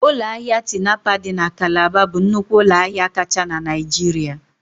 Ụlọ ahịa Tinapa dị na Calabar bụ nnukwu ụlọ ahịa kacha na Naịjirịa